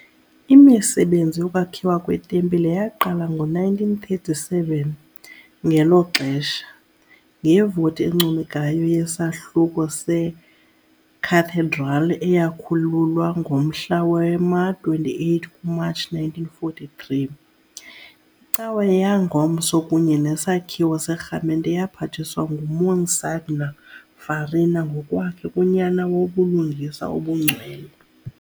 Imisebenzi yokwakhiwa kwetempile yaqala ngo-1937, ngelo xesha, ngevoti encomekayo yesahluko seCathedral eyakhululwa ngomhla wama-28 kuMatshi 1943, icawa yangomso kunye nesakhiwo serhamente yaphathiswa nguMonsignor Farina ngokwakhe kuNyana woBulungisa obuNgcwele.